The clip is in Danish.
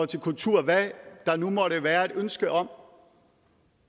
til kultur og hvad der nu måtte være et ønske om